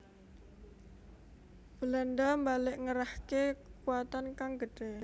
Belanda mbalik ngerahke kekuwatan kang gedhe